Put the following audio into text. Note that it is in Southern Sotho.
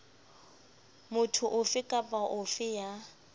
motho ofe kapa ofe ya